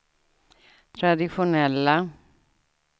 traditionella